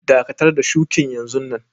Dakatar da shukin yanzun nan!